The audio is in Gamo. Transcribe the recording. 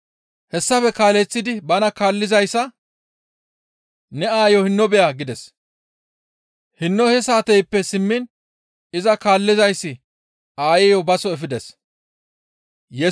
Hessafe kaaleththidi bana kaallizayssa, «Ne aayo hinno beya» gides. Hinno he saateyppe simmiin iza kaallizayssi aayeyo baso efides.